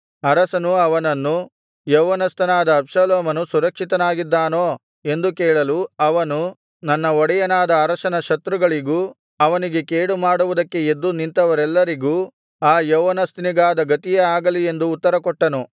ಅರಸನು ಅವನನ್ನು ಯೌವನಸ್ಥನಾದ ಅಬ್ಷಾಲೋಮನು ಸುರಕ್ಷಿತನಾಗಿದ್ದಾನೋ ಎಂದು ಕೇಳಲು ಅವನು ನನ್ನ ಒಡೆಯನಾದ ಅರಸನ ಶತ್ರುಗಳಿಗೂ ಅವನಿಗೆ ಕೇಡು ಮಾಡುವುದಕ್ಕೆ ಎದ್ದು ನಿಂತವರೆಲ್ಲರಿಗೂ ಆ ಯೌವನಸ್ಥನಿಗಾದ ಗತಿಯೇ ಆಗಲಿ ಎಂದು ಉತ್ತರ ಕೊಟ್ಟನು